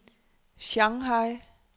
Shanghai